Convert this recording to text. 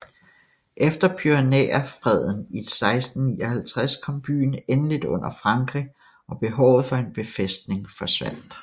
Efter Pyrenæerfreden i 1659 kom byen endeligt under Frankrig og behovet for en befæstning forsvandt